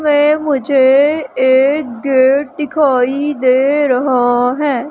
मे मुझे एएक गेट दिखाई दे रहा है।